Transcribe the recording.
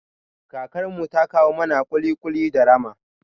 Kakar mu ta kawo mana ƙuli-ƙuli da rama